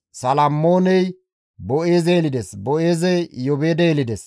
Salmmooney Boo7eeze yelides; Boo7eezey Iyoobeede yelides;